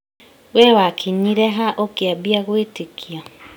We wakinyire ha ũkiambia gwĩtĩkia?